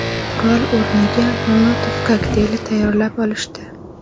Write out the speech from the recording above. Qurol o‘rniga Molotov kokteyli tayyorlab olishdi.